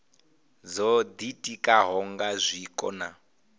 dzo ditikaho nga zwiko na